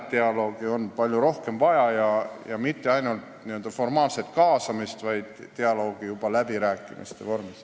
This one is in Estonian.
Dialoogi on palju rohkem vaja ja mitte ainult formaalset kaasamist, vaid dialoogi läbirääkimiste vormis.